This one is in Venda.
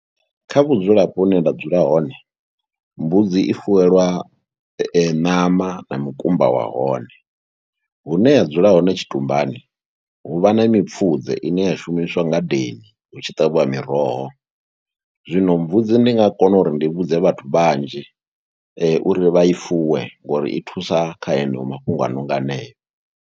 Kha vhudzulapo hune nda dzula hone mbudzi i fuwelwa ṋama na mukumba wa hone, hune ya dzula hone tshitumbani hu vha na mipfudze ine a shumiswa ngadeni hu tshi ṱavhiwa miroho, zwino mbudzi ndi nga kona uri ndi vhudze vhathu vhanzhi uri vha i fuwe ngori i thusa kha haneyo mafhungo a no nga haneyo.